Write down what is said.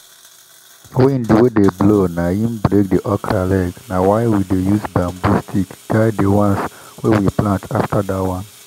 wind wey dey blow naim break the okra leg na why we dey use bamboo stick guide the ones wey we plant after that one.